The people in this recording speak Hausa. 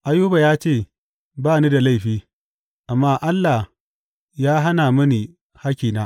Ayuba ya ce, Ba ni da laifi, amma Allah ya hana mini hakkina.